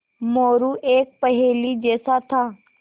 मोरू एक पहेली जैसा था